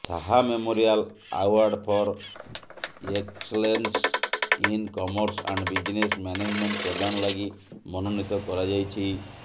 Shah memorial award for excellence in commerce and business management ପ୍ରଦାନ ଲାଗି ମନୋନୀତ କରାଯାଇଛି